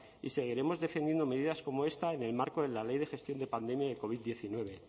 y seguiremos defendiendo medidas como esta en el marco de la ley de gestión de pandemia del covid diecinueve